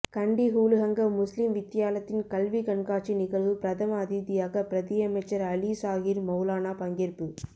கண்டி ஹுலுஹங்க முஸ்லிம் வித்தியாலத்தின் கல்விக் கண்காட்சி நிகழ்வு பிரதம அதிதியாக பிரதியமைச்சர் அலி சாஹிர் மௌலானா பங்கேற்பு